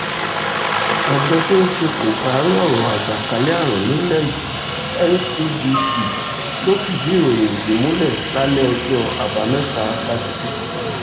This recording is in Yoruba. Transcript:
àjọ tó ń ṣe kòkáárí ọ̀rọ̀ àjàkálẹ̀ àrùn nílẹ̀ yìí ncdc ló fìdí ìròyìn yìí múlẹ̀ lálẹ́ ọjọ́ àbámẹ́ta sátidé